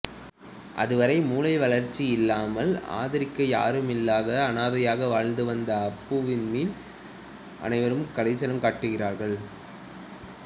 அதுவரை மூலை வளர்ச்சி இல்லாமல் ஆதரிக்க யாருமில்லாத அனாதையாக வாழ்ந்துவந்த அப்புவின் மேல் அனைவரும் கரிசணம் காட்டுகிறார்கள்